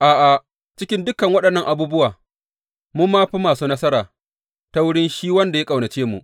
A’a, cikin dukan waɗannan abubuwa mun ma fi masu nasara ta wurin shi wanda ya ƙaunace mu.